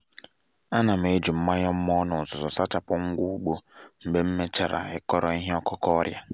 a na m eji mmanya mmọ na uzuzu sachapụ ngwa ugbo mgbe m mechara mechara kọrọ ihe ọkụkụ ọrịa